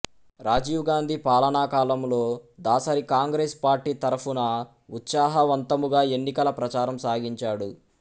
రాజీవ్ గాంధీ పాలనాకాలములో దాసరి కాంగ్రేసు పార్టీ తరఫున ఉత్సాహవంతముగా ఎన్నికల ప్రచారము సాగించాడు